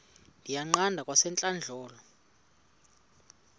ndiyiqande kwasentlandlolo le